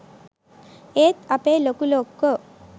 ඒත් අපේ ලොකු ලොක්කෝ